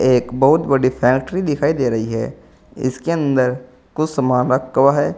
एक बहुत बड़ी फैक्ट्री दिखाई दे रही है इसके अंदर कुछ सामान रखा हुआ है।